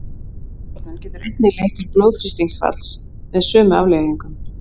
Ofþornun getur einnig leitt til blóðþrýstingsfalls með sömu afleiðingum.